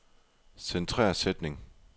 Centrer sætning.